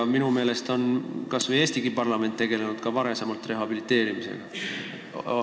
Ent minu meelest on Eesti parlament ka varem tegelenud rehabiliteerimisega.